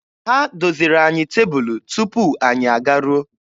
Ha doziri anyị tebụlụ tupu anyị agaruo.